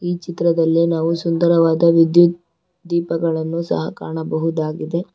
ಈ ಚಿತ್ರದಲ್ಲಿ ನಾವು ಸುಂದರವಾದ ವಿದ್ಯುತ್ ದೀಪಗಳನ್ನು ಸಹ ಕಾಣಬಹುದಾಗಿದೆ.